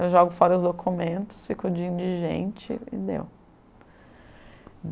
Eu jogo fora os documentos, fico de indigente e deu.